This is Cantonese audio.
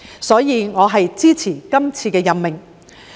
因此，我支持這次任命。